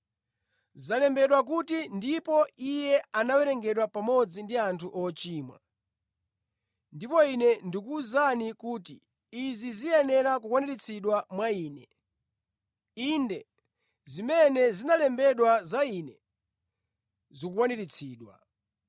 Zalembedwa kuti, ‘Ndipo Iye anawerengedwa pamodzi ndi anthu ochimwa,’ ndipo Ine ndikuwuzani kuti izi ziyenera kukwaniritsidwa mwa Ine. Inde, zimene zinalembedwa za Ine, zikukwaniritsidwa.”